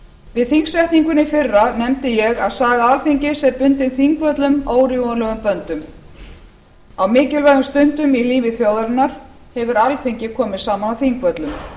við þingsetninguna í fyrra nefndi ég að saga alþingis er bundin þingvöllum órjúfanlegum böndum á mikilvægum stundum í lífi þjóðarinnar hefur alþingi komið saman á þingvöllum